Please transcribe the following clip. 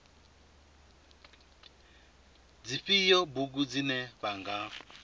dzifhio bugu dzine vha nga